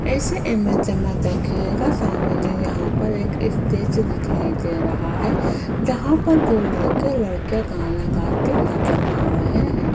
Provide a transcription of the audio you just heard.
इस इमेज में देखिएगा सामने यहां पर एक इस्टेज दिखाई दे रहा है जहां पर दो लड़के लड़कियां गाना गाते नजर आ रहे है।